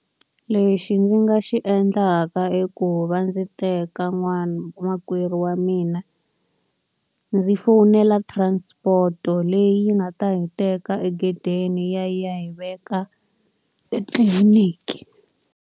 Lexi ndzi nga xi endlaka i ku va ndzi teka makwerhu wa mina, ndzi fowunela transport-o leyi nga ta hi teka egedeni ya ya hi veka etliliniki.